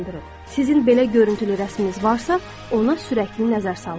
Sizin belə görüntülü rəsmimiz varsa, ona sürətli nəzər salın.